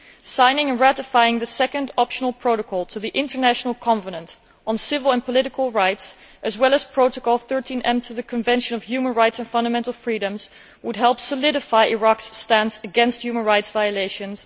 Signing and ratifying the Second Optional Protocol to the International Covenant on Civil and Political Rights, as well as Protocol 13 to the Convention on Human Rights and Fundamental Freedoms, would help to solidify Iraq's stance against human rights violations.